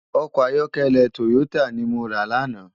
Òkò àyòkèlè tóyótá ni mó rá làná